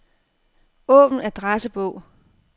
Åbn adressebog.